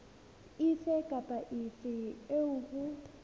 efe kapa efe eo ho